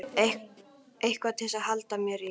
Eitthvað til að halda mér í.